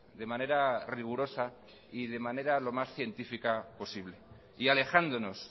de manera rigurosa y de manera lo más científica posible y alejándonos